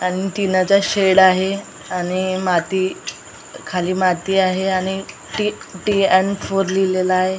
अन टिनाचा शेड आहे आणि माती खाली माती आहे आणि टी.टी. अँड फोर लिहिलेलं आहे.